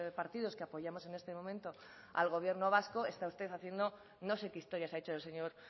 partidos que apoyamos en este momento al gobierno vasco está usted haciendo no sé qué historias ha hecho el señor